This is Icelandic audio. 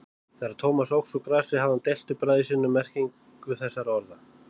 Þegar Thomas óx úr grasi hafði hann deilt við bræður sína um merkingu þessara orða.